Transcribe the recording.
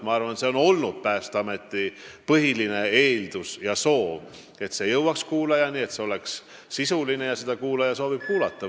Ma arvan, et Päästeameti põhiline eeldus ja soov on olnud, et info jõuaks kuulajani, et see oleks sisuline ja kuulaja sooviks seda kuulata.